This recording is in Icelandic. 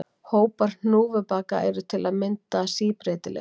hópar hnúfubaka eru til að mynda síbreytilegir